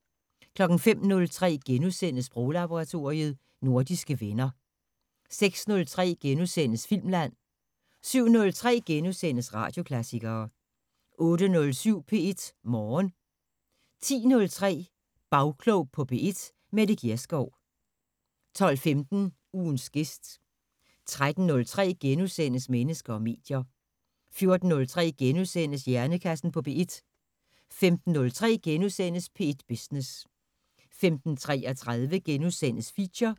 05:03: Sproglaboratoriet: Nordiske venner * 06:03: Filmland * 07:03: Radioklassikere * 08:07: P1 Morgen 10:03: Bagklog på P1: Mette Gjerskov 12:15: Ugens gæst 13:03: Mennesker og medier * 14:03: Hjernekassen på P1 * 15:03: P1 Business * 15:33: Feature *